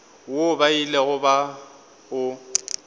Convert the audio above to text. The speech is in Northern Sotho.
woo ba ilego ba o